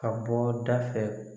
Ka bɔ da fɛ